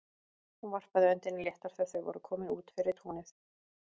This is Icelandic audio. Hún varpaði öndinni léttar þegar þau voru komin út fyrir túnið.